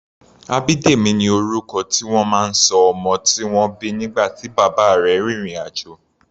Abidemi ni orúkọ tí wọ́n máa ń ṣọ ọmọ tí wọ́n bí nígbà tí bàbá rẹ̀ rin ìrìn-àjò.